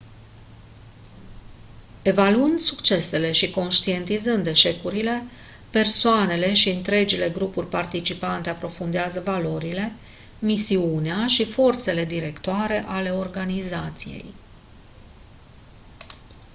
evaluând succesele și conștientizând eșecurile persoanele și întregile grupuri participante aprofundează valorile misiunea și forțele directoare ale organizației